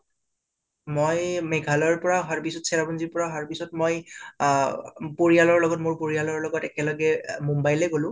মই মেঘালয়ৰ পৰা অহা পিছত চেৰাপুঞ্জীৰ পৰা অহাৰ পিছত মই অ পৰিয়ালৰ লগত মোৰ পৰিয়ালৰ লগত একেলগে আঁ মুম্বাই লৈ গলোঁ